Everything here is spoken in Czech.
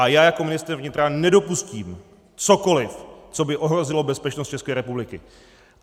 A já jako ministr vnitra nedopustím cokoliv, co by ohrozilo bezpečnost České republiky.